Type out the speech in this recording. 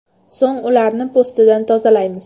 So‘ng ularni po‘stidan tozalaymiz.